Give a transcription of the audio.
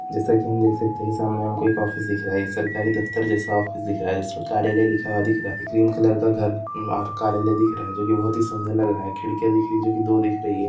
जैस की हम देख सकते है सामने हमको एक ऑफिस दिख रहा है सरकारी दफ्तर जैसा ऑफिस दिख रहा है जिसको कार्यालय लिखा हुवा दिख रहा है ग्रीन कलर का घर कार्यालय दिख रहा है जो की खिड़कियां दिख रही है जो की दो दिख रही है।